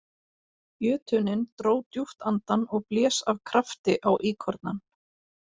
Jötunninn dró djúpt andann og blés af krafti á íkornann.